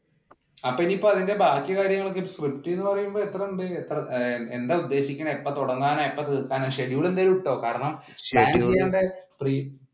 അപ്പൊ ഇനി അതിന്റെ ബാക്കി കാര്യങ്ങളൊക്കെ സ്ക്രിപ്റ്റ് എന്ന് പറയുമ്പോൾ എത്രയുണ്ട് എന്താ ഉദ്ദേശിക്കണെ? എപ്പോ തുടങ്ങാനാ? എപ്പോ തീർക്കാനാ? schedule എന്തായാലും ഇട്ടോ കാരണം